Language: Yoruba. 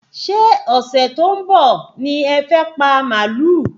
Ṣé ọ̀sẹ̀ tó ń bọ̀ ní ẹ fẹ́ pa màálù?